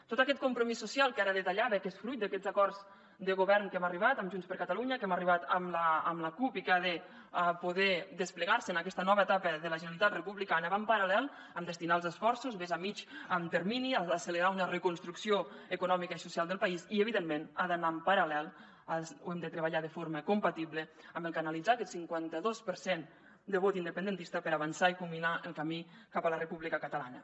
tot aquest compromís social que ara detallava que és fruit d’aquests acords de govern a què hem arribat amb junts per catalunya a què hem arribat amb la cup i que han de poder desplegar se en aquesta nova etapa de la generalitat republicana va en paral·lel amb destinar els esforços més a mitjà termini a accelerar una reconstrucció econòmica i social del país i evidentment ha d’anar en paral·lel ho hem de treballar de forma compatible amb canalitzar aquest cinquanta dos per cent de vot independentista per avançar i culminar el camí cap a la república catalana